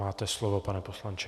Máte slovo, pane poslanče.